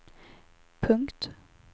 punkt